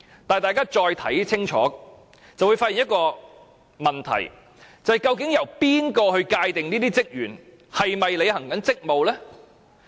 但是，大家如果再看清楚，就會發現一個問題，就是由誰界定這些職員是否在履行職務？